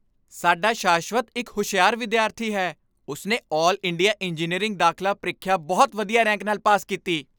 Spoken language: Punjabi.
ਸਾਡਾ ਸ਼ਾਸ਼ਵਤ ਇੱਕ ਹੁਸ਼ਿਆਰ ਵਿਦਿਆਰਥੀ ਹੈ! ਉਸ ਨੇ ਆਲ ਇੰਡੀਆ ਇੰਜੀਨੀਅਰਿੰਗ ਦਾਖਲਾ ਪ੍ਰੀਖਿਆ ਬਹੁਤ ਵਧੀਆ ਰੈਂਕ ਨਾਲ ਪਾਸ ਕੀਤੀ।